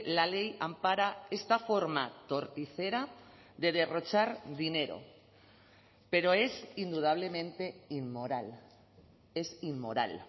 la ley ampara esta forma torticera de derrochar dinero pero es indudablemente inmoral es inmoral